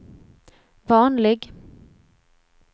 vanlig